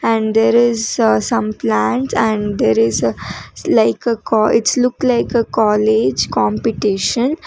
and there is a some plants and there is like a call it's look like a college competition.